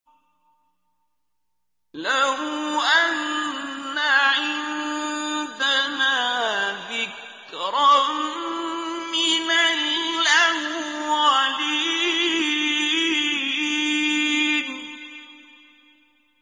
لَوْ أَنَّ عِندَنَا ذِكْرًا مِّنَ الْأَوَّلِينَ